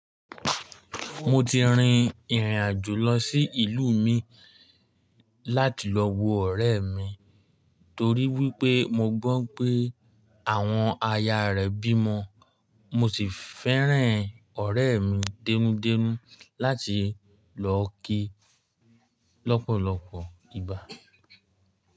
Mo ti rin ìrìn àjò lọ sí ìlú mii láti lọ wo ọ̀rẹ́ mi torí wípé mo gbọ́ pé àwọn aya rẹ̀ bímọ. Mo sì fẹ́ràn ọ̀rẹ́ mi dẹ́nú dẹ́nú láti lọ kí i lọ́pọ̀lọpọ̀ ìgbà.